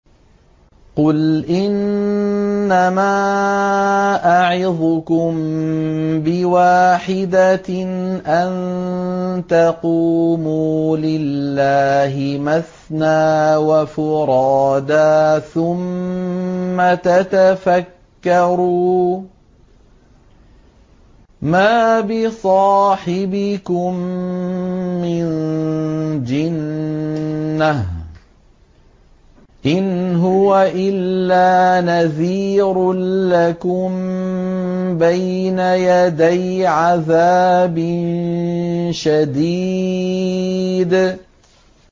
۞ قُلْ إِنَّمَا أَعِظُكُم بِوَاحِدَةٍ ۖ أَن تَقُومُوا لِلَّهِ مَثْنَىٰ وَفُرَادَىٰ ثُمَّ تَتَفَكَّرُوا ۚ مَا بِصَاحِبِكُم مِّن جِنَّةٍ ۚ إِنْ هُوَ إِلَّا نَذِيرٌ لَّكُم بَيْنَ يَدَيْ عَذَابٍ شَدِيدٍ